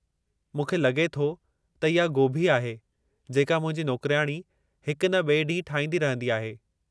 मूंखे लॻे थो त इहा गोभी आहे, जेका मुंहिंजी नौकिरियाणी हिकु न ॿिए ॾींहुं ठाहींदी रहंदी आहे।